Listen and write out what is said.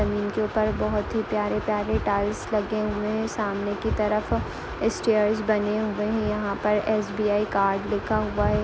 जमीन के ऊपर बहुत ही प्यारे-प्यारे टाइल्स लगे हुए हैं सामने की तरफ स्टेयर्स बने हुए हैं यहाँ पर एस.बी.आई कार्ड लिखा हुआ है एक--